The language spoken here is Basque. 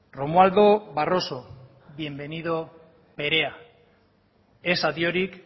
romualdo barroso bienvenido perea ez adiorik